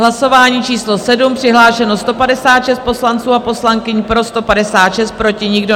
Hlasování číslo 7, přihlášeno 156 poslanců a poslankyň, pro 156, proti nikdo.